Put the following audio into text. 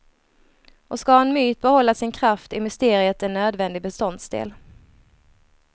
Och ska en myt behålla sin kraft är mysteriet en nödvändig beståndsdel.